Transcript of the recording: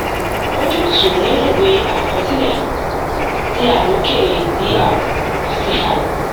ojútùú nínú ìwée àkọsílẹ ti aloke dr cr